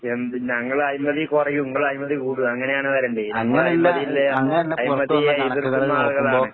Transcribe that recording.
എന്ത് ഞങ്ങളഴിമതി കൊറയും ഇങ്ങളയിഴിമതി കൂടും. അങ്ങനെയാണ് വരേണ്ടിയെ. ഞങ്ങൾ അഴിമതിയിള്ള അഴിമതിയെ എതിർക്കുന്ന ആളുകളാണ്.